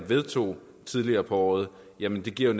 vedtog tidligere på året jo netop giver